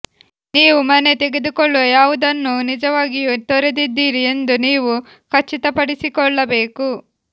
ನೀವು ಮನೆ ತೆಗೆದುಕೊಳ್ಳುವ ಯಾವುದನ್ನೂ ನಿಜವಾಗಿಯೂ ತೊರೆದಿದ್ದೀರಿ ಎಂದು ನೀವು ಖಚಿತಪಡಿಸಿಕೊಳ್ಳಬೇಕು